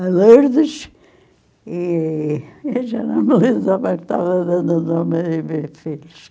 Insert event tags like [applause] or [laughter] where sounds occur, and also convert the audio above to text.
A Lourdes e... Eu já não me lembro mais [unintelligible] o nome [unintelligible] filhos.